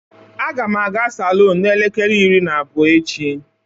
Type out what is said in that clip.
Agam aga salon n'elekere iri na abuo echi.